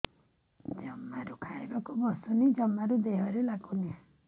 ଜମାରୁ ଖାଇବାକୁ ବସୁନି ଜମାରୁ ଦେହରେ ଲାଗୁନି